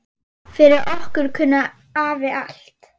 Fyrir okkur kunni afi allt.